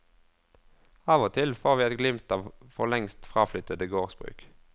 Av og til får vi et glimt av for lengst fraflyttede gårdsbruk.